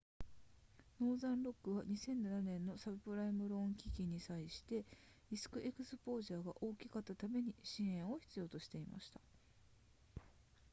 ノーザンロックは2007年のサブプライムローン危機に際してリスクエクスポージャーが大きかったために支援を必要としていました